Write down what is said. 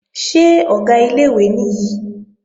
Ṣé Ọ̀gá ilé-ìwé nìyí?